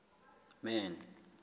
man